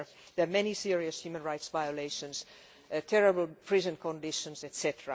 There are many serious human rights violations, terrible prison conditions, etc.